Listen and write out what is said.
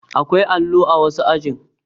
Akwai allo a wasu ajin